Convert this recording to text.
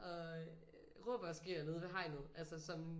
Og råber og skriger nede ved hegnet altså som